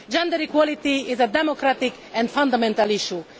Gender equality is a democratic and fundamental issue.